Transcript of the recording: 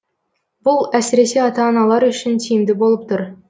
бұл әсіресе ата аналар үшін тиімді болып тұр